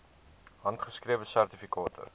handgeskrewe sertifikate